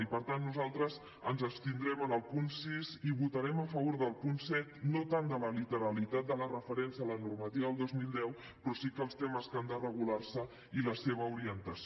i per tant nosaltres ens abstindrem en el punt sis i votarem a favor del punt set no tant a la literalitat de la referència a la normativa del dos mil deu però sí quant als temes que han de regular se i la seva orientació